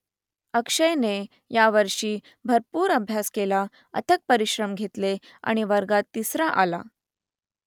अक्षयने यावर्षी भरपूर अभ्यास केला अथक परिश्रम घेतले आणि वर्गात तिसरा आला